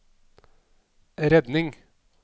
redning